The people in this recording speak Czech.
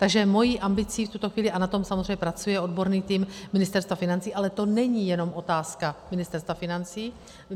Takže mou ambicí v tuto chvíli, a na tom samozřejmě pracuje odborný tým Ministerstva financí - ale to není jenom otázka Ministerstva financí.